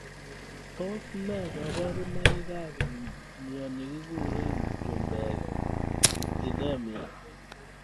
Tos ne kaburunoik ab mnyeninkure chumbek Histidemia.